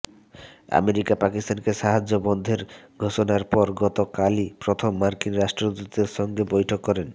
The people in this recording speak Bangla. আমেরিকা পাকিস্তানকে সাহায্য বন্ধের ঘোষণার পর গত কালই প্রথম মার্কিন রাষ্ট্রদূতের সঙ্গে বৈঠক করেন